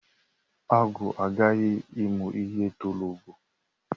Agwọ aghaghi imu ihe toro ogo